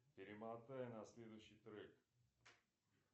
перемотай на следующий трек